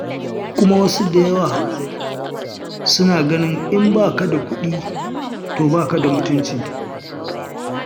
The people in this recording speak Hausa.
Kuma wasu da yawa suna ganin in ba ka da kuɗi to ba ka da mutunci.